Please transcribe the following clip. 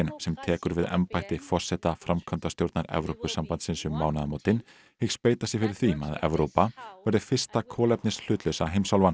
sem tekur við embætti forseta framkvæmdastjórnar Evrópusambandsins um mánaðamótin hyggst beita sér fyrir því að Evrópa verði fyrsta kolefnishlutlausa heimsálfan